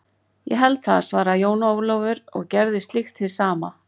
Ég held það, svaraði Jón Ólafur og gerði slíkt hið sama.